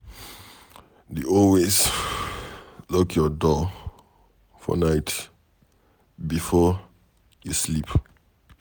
Dey always lock your door for night before you sleep.